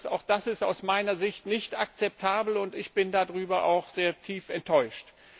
Auch das ist aus meiner Sicht nicht akzeptabel und ich bin darüber sehr tief enttäuscht.